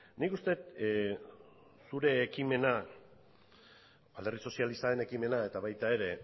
nik uste dut zure ekimena alderdi sozialistaren ekimena eta baita ere